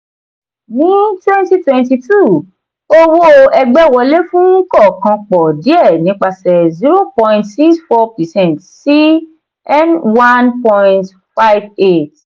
wọ́n twenty twenty two owó ẹgbẹ́ wọlé fún kọ̀ọ̀kan pọ̀ díẹ̀ nípasẹ̀ zero point six four percent sí n one point five eight.